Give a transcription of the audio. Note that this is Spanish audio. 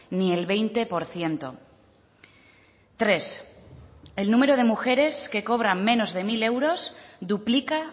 ni el veinte por ciento tres el número de mujeres que cobra menos de mil euros duplica